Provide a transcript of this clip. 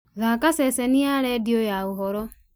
thaaka ceceni ya rĩndiũ ya ũhoro